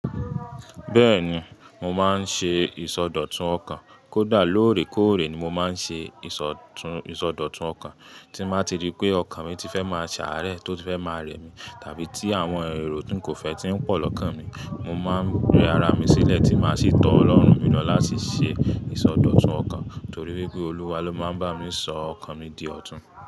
Bẹ́ẹ̀ni, mo máa ń ṣe ìsọdọ̀tun ọkàn. Kódà lóòrèkóòrè ni mo máa ń ṣe ìsọdọ̀tun ọkàn. Tí mo bá ti rí pé ọkàn mi ti fẹ́ máa ṣàárẹ̀, tó ti fẹ́ máa rẹ̀ mí, tàbí tí àwọn èrò tí ń kò fẹ́ ti ń pọ̀ lọ́kàn mi, mo máa ń gbé ara mi sílẹ̀ tí máa sì tọ́ Ọlọ́run mi lọ láti ṣe ìsọdọ̀tun ọkàn, torí wípé Olúwa ló máa ń bá mi sọ ọkàn mi di ọ̀tún.